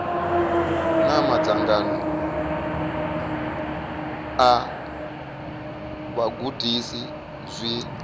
na madzangano a vhagudisi zwi